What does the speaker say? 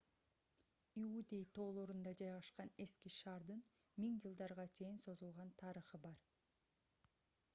иудей тоолорунда жайгашкан эски шаардын миң жылдарга чейин созулган тарыхы бар